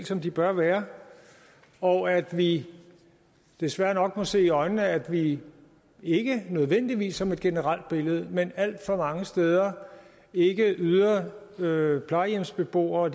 som de bør være og at vi desværre nok må se i øjnene at vi ikke nødvendigvis som et generelt billede men alt for mange steder ikke yder yder plejehjemsbeboere og